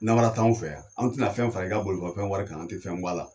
Namara t'an fɛ yan. An tɛna fɛn fara i ka bolimafɛn wari kan an tɛ fɛn bɔ a la.